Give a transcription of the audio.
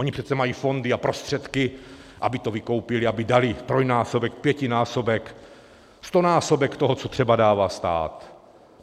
Oni přece mají fondy a prostředky, aby to vykoupili, aby dali trojnásobek, pětinásobek, stonásobek toho, co třeba dává stát.